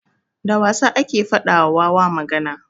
Da wasa ake faɗa wa wawa magana.